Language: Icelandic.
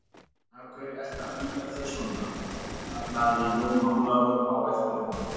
Af hverju ertu að flýta þér svona, kallaði Jón Ólafur á eftir honum.